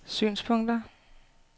synspunkter